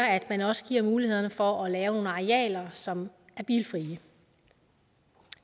at man også giver mulighed for at lave nogle arealer som er bilfrie